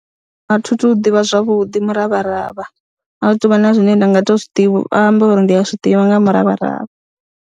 A thi tu ḓivha zwavhuḓi muravharavha a hu tou vha na zwine nda nga tou zwi amba uri ndi a zwi ḓivha nga ha muravharavha.